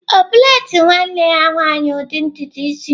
Ọ plait nwanne ya nwanyị ụdị ntutu isi?